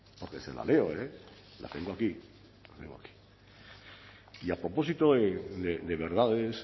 porque se la leo la tengo aquí y a propósito de verdades